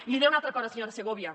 i li diré una altra cosa senyora segovia